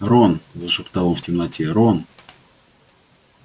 рон зашептал он в темноте рон